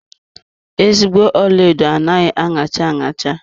Ezigbo ọlaedo anaghị aṅacha aṅacha.